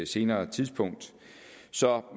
senere tidspunkt